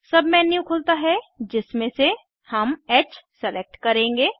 submenu खुलता है जिसमे से हम ह सेलेक्ट करेंगे